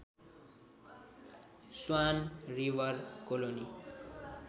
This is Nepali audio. swan River colony